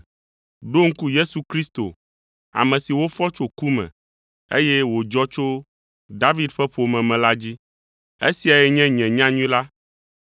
Ɖo ŋku Yesu Kristo, ame si wofɔ tso ku me, eye wòdzɔ tso David ƒe ƒome me la dzi. Esiae nye nye nyanyui la,